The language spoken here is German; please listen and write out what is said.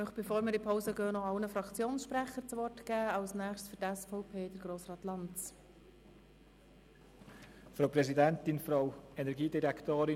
Bevor wir in die Pause gehen, möchte ich noch allen Fraktionssprechern das Wort geben.